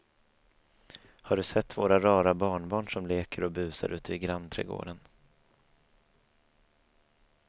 Har du sett våra rara barnbarn som leker och busar ute i grannträdgården!